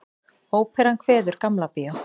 Óperan kveður Gamla bíó